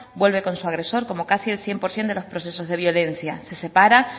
vuelve con su agresor como casi el cien por ciento de los procesos de violencia se separa